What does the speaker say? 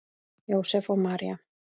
Jósep og María